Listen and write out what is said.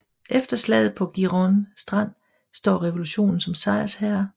Efter slaget på Giron Strand står revolutionen som sejrherre